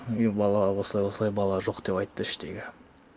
е бала осылай осылай бала жоқ деп айтты іштегі